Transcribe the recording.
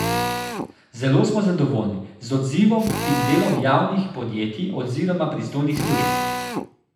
Zelo smo zadovoljni z odzivom in delom javnih podjetij oziroma pristojnih služb.